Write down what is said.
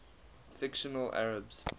fictional arabs